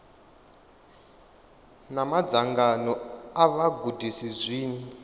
na madzangano a vhagudisi zwi